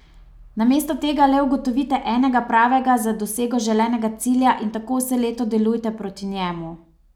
Namesto tega le ugotovite enega pravega za dosego želenega cilja, in tako vse leto delujte proti njemu.